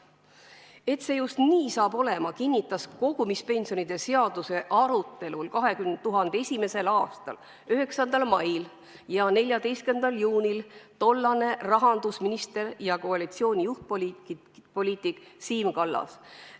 Et see just nii saab olema, kinnitas kogumispensionide seaduse arutelul 2001. aasta 9. mail ja 14. juunil tollane rahandusminister ja koalitsiooni juhtpoliitik Siim Kallas.